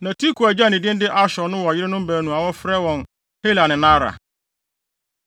Na Tekoa agya a ne din de Ashur no wɔ yerenom baanu a wɔfrɛ wɔn Hela ne Naara.